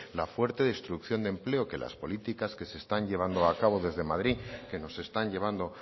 la fuerte exclusión de empleo que las políticas que se están llevando a cabo desde madrid que nos están llevando